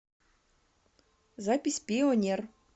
запись пионер